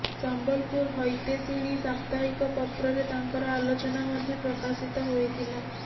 ସମ୍ବଲପୁର ହିତୈଷିଣୀ ସାପ୍ତାହିକ ପତ୍ରରେ ତାଙ୍କର ଆଲୋଚନା ମଧ୍ୟ ପ୍ରକାଶିତ ହୋଇଥିଲା